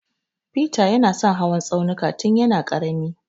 Feter ya na son hawan tsaunuka tun ya na ƙarami